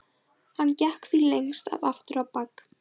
Hann gekk því lengst af aftur á bak.